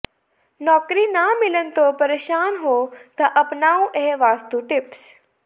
ਨੌਕਰੀ ਨਾ ਮਿਲਣ ਤੋਂ ਪ੍ਰੇਸ਼ਾਨ ਹੋ ਤਾਂ ਅਪਣਾਓ ਇਹ ਵਾਸਤੂ ਟਿਪਸ